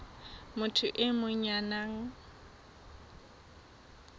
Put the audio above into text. motho e mong ya nang